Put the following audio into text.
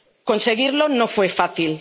Conseguirlo no fue fácil.